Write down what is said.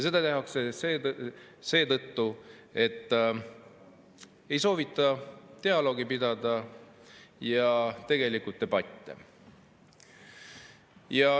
Seda tehakse seetõttu, et ei soovita dialoogi ja debatte pidada.